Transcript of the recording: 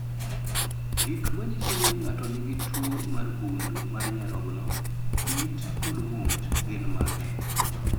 Gik manyiso ni ng'ato nigi tuwo mar gund mar nyarogno, it kod ng'ut gin mage?